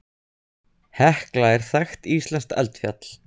Hekla er þekkt íslenskt eldfjall.